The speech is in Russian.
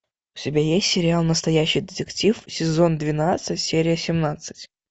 у тебя есть сериал настоящий детектив сезон двенадцать серия семнадцать